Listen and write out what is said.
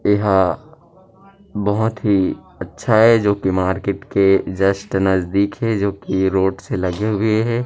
एहा बहुत ही अच्छा ये जो की मार्केट के जस्ट नजदीक हे जो की रोड से लगे हुए हे।